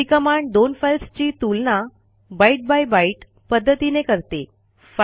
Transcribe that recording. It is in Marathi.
ही कमांड दोन फाईल्सची तुलना बायट बाय byteपध्दतीने करते